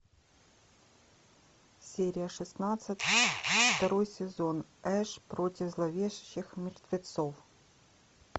серия шестнадцать второй сезон эш против зловещих мертвецов